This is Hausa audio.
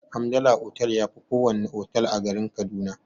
Hamdala otal yafi kowana otal a garin kaduna.